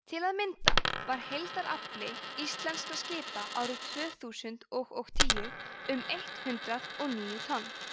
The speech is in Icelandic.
til að mynda var heildarafli íslenskra skipa árið tvö þúsund og og tíu um eitt hundruð og níu tonn